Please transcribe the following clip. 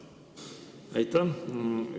Aitäh!